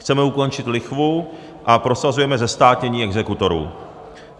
Chceme ukončit lichvu a prosazujeme zestátnění exekutorů.